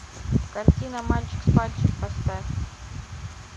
картина мальчик с пальчик поставь